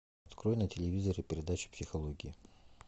открой на телевизоре передачу психология